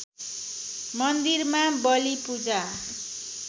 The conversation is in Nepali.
मन्दिरमा बली पूजा